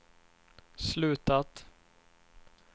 slutat